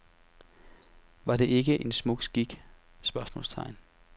Var det ikke en smuk skik? spørgsmålstegn